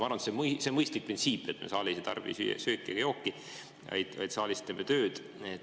Arvan, et see on mõistlik printsiip, et me saalis ei tarbi sööki ja jooki, vaid teeme saalis tööd.